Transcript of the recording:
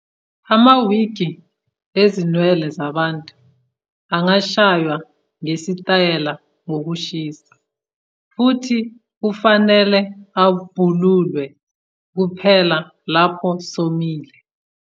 Ama- wigi ezinwele zabantu angashaywa ngesitayela ngokushisa, futhi kufanele abhululwe kuphela lapho somile.